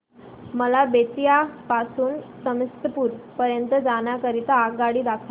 मला बेत्तीयाह पासून ते समस्तीपुर पर्यंत जाण्या करीता आगगाडी दाखवा